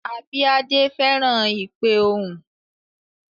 Abíadé fẹ́ràn ìpe ohùn